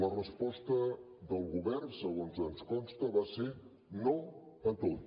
la resposta del govern segons ens consta va ser no a tot